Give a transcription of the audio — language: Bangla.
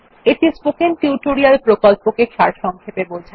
এটি স্পোকেন টিউটোরিয়াল প্রকল্পকে সারসংক্ষেপে বোঝায়